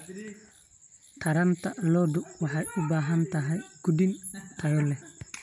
Taranta lo'du waxay u baahan tahay quudin tayo leh.